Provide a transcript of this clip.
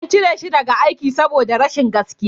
An cire shi daga aiki saboda rashin gaskiya